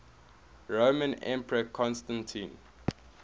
roman emperor constantine